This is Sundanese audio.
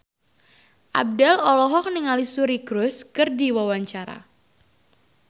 Abdel olohok ningali Suri Cruise keur diwawancara